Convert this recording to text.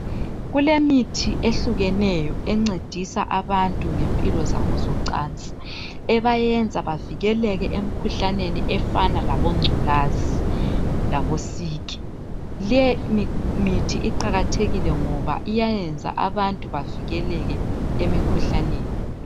Kulemithi ehlukeneyo encedisa abantu ngempilo zabo zocansi ebayenza bavikeleke emikhuhlaneni efana labo ngculazi labo siki .Lemithi iqakathekile ngoba iyayenza ukuthi abantu bavikeleke emikhuhlaneni.